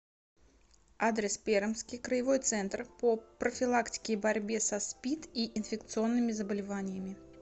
адрес пермский краевой центр по профилактике и борьбе со спид и инфекционными заболеваниями